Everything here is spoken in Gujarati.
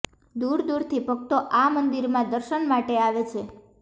દૂર દૂરથી ભક્તો આ મંદિરમાં દર્શન માટે આવે છે